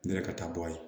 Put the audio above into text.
Ne yɛrɛ ka taa bɔ a ye